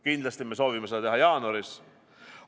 Kindlasti me soovime seda teha jaanuaris.